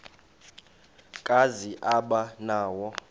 kazi aba nawo